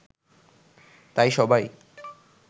তাই সবাই